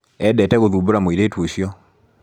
Endete gũthumbũra mũiritu ũcio.